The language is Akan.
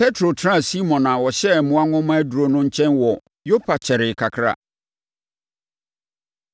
Petro tenaa Simon a ɔhyɛ mmoa nwoma aduro no nkyɛn wɔ Yopa kyɛree kakra.